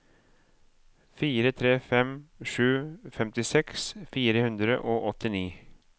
fire tre fem sju femtiseks fire hundre og åttini